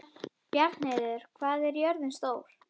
Bjarnheiður, hvað er jörðin stór?